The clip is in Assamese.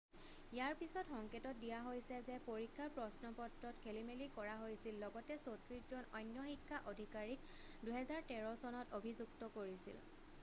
ইয়াৰ পিছত সংকেত দিয়া হৈছে যে পৰীক্ষাৰ প্ৰশ্নপত্ৰত খেলিমেলি কৰা হৈছিল লগতে 34 জন অন্য শিক্ষা অধিকাৰীক 2013 চনত অভিযুক্ত কৰিছিল